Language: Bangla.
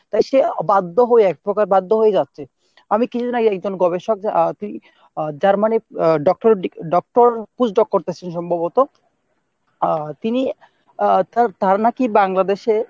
তাই সে বাধ্য হয়ে এক প্রকার বাধ্য হয়েই যাচ্ছে আমি কিছুদিন আগে একজন গবেষক আহ তিনি Germany এর আহ doctorate doctor post doc করতেছেন সম্ভবত আহ তিনি আহ তার ধারণা কি বাংলাদেশে